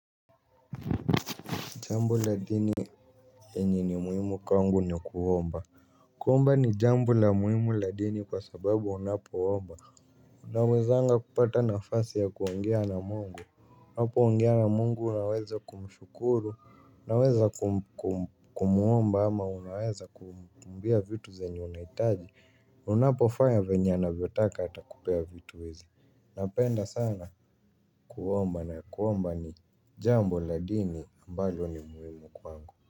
Jambo la dini yenye ni muhimu kwangu ni kuomba. Kuomba ni jambo la muhimu la dini kwa sababu unapoomba unawezanga kupata nafasi ya kuongea na mungu unapoongea na mungu unaweza kumshukuru. Unaweza kumuomba ama unaweza kumwambia vitu zenye unahitaji. Unapofanya vyenye anavyotaka atakupea vitu hizi. Napenda sana kuomba na kuomba ni jambo la dini ambalo ni muhimu kwangu.